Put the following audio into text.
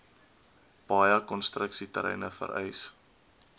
baie konstruksieterreine vereis